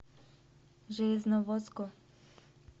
железноводску